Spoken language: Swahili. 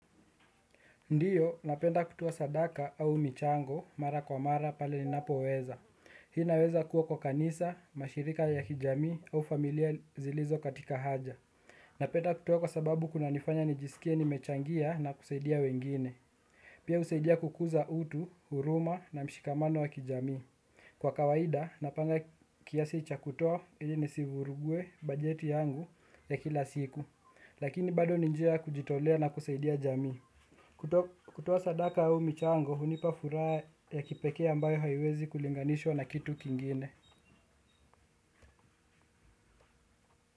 Ndiyo, napenda kutoa sadaka au michango, mara kwa mara pale ninapoweza. Hii inaweza kuwa kwa kanisa, mashirika ya kijamii au familia zilizo katika haja. Napenda kutoa kwa sababu kuna nifanya nijisikie nimechangia na kusaidia wengine. Pia husaidia kukuza utu, huruma na mshikamano wa kijamii. Kwa kawaida, napanga kiasi cha kutoa ili nisivurugue bajeti yangu ya kila siku. Lakini bado ni njia kujitolea na kusaidia jamii. Kutoa sadaka au michango hunipa furaha ya kipekee ambayo haiwezi kulinganishwa na kitu kingine.